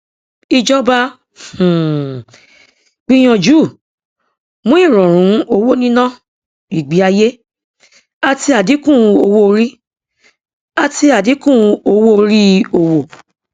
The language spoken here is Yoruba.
ìjọba um gbìyànjú mú ìrọrùn owóníná ìgbéayé àti àdínkù owóorí àti àdínkù owóorí òwò